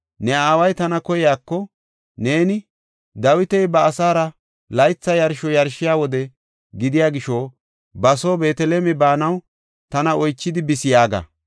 Ne aaway tana koyiko, neeni, ‘Dawiti ba asaara laytha yarsho yarshiya wode gidiya gisho ba soo Beeteleme baanaw tana oychidi bis’ yaaga.